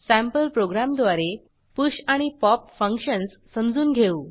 sample प्रोग्रॅमद्वारे push आणि pop functions समजून घेऊ